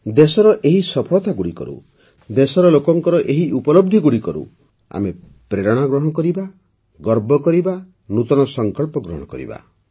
ଦେଶର ଏହି ସଫଳତାଗୁଡ଼ିକରୁ ଦେଶର ଲୋକଙ୍କ ଏହି ଉପଲବ୍ଧିଗୁଡ଼ିକରୁ ଆମେ ପ୍ରେରଣା ଗ୍ରହଣ କରିବା ଗର୍ବ କରିବା ନୂତନ ସଂକଳ୍ପ ଗ୍ରହଣ କରିବା